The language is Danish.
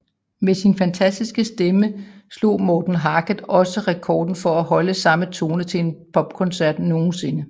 Med sin fantastiske stemme slog Morten Harket også rekorden for at holde samme tone til en popkoncert nogensinde